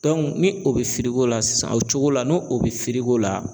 ni o bɛ feere k'o la sisan o cogo la n'o o bɛ feere k'o la